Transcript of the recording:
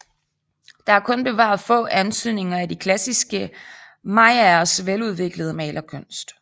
Der er kun bevaret få antydninger af de klassiske mayaers veludviklede malerkunst